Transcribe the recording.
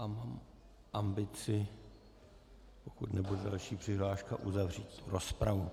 A mám ambici, pokud nebude další přihláška, uzavřít rozpravu.